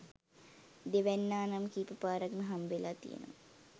දෙවැන්නා නම් කීප පාරක්ම හම්බවෙලා තියෙනවා.